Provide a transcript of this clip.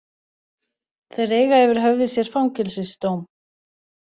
Þeir eiga yfir höfði sér fangelsisdóm